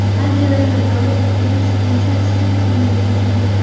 Anjelina Joli Deniz Richardsning uyiga ko‘chib o‘tdi.